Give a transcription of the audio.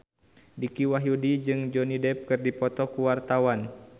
Dicky Wahyudi jeung Johnny Depp keur dipoto ku wartawan